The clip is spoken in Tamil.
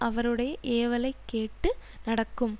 அவருடைய ஏவலைக் கேட்டு நடக்கும்